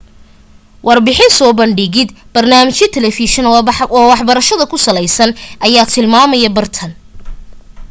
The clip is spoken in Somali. warbixin soo bandhigid barnaamijyo telefishan oo waxbarasha ku saleysan ayaa tilmaamaya bartaan